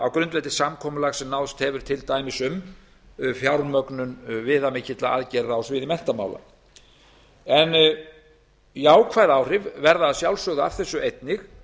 á grundvelli samkomulags sem náðst hefur til dæmis um fjármögnun viðamikilla aðgerða á sviði menntamála en jákvæð áhrif verða að sjálfsögðu af þessu einnig